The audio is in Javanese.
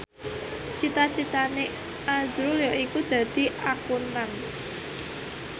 cita citane azrul yaiku dadi Akuntan